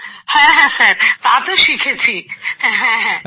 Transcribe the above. হ্যাঁ হ্যাঁ স্যার তা তো শিখেছি হ্যাঁ